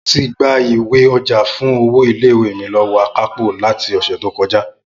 Mo ti gba ìwé-ọjà fún owó ilé ìwé mi lọ́wọ́ akápò láti ọ̀sẹ̀ tó kọjá